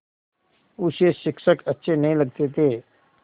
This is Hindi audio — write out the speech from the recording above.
उसे शिक्षक अच्छे नहीं लगते थे